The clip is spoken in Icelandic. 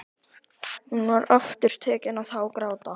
Hún var aftur tekin að hágráta.